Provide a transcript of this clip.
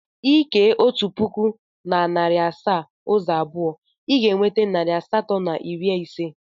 Ị kee otu pụkụ na narị asaa ụzọ abụọ, ị ga-enweta narị asatọ na iri ise.